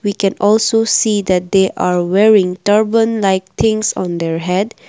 we can also see that they are wearing turban like things on their head.